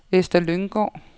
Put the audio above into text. Ester Lynggaard